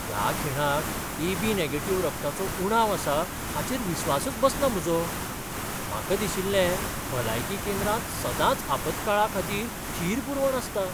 ह्या खिणाक ए.बी.नॅगेटीव्ह रक्ताचो उणाव आसा हाचेर विस्वासच बसना म्हजो. म्हाका दिशिल्लें भलायकी केंद्रांत सदांच आपतकाळाखातीर थीर पुरवण आसता.